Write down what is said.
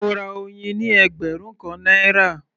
Mo ra oyin ní ẹgbẹ̀rún kan náírà